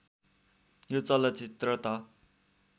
यो चलचित्र त